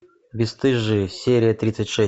бесстыжие серия тридцать шесть